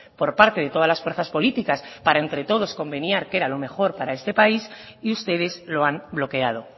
por parte de todas las fuerzas políticas para entre todos convenir qué era lo mejor para este país y ustedes lo han bloqueado